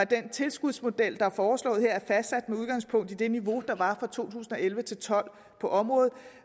den tilskudsmodel der er foreslået her er fastsat med udgangspunkt i det niveau der var fra to tusind og elleve til tolv på området